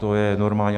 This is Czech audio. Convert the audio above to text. To je normální.